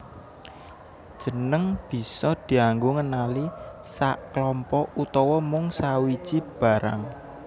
Jeneng bisa dianggo ngenali saklompok utawa mung sawiji barang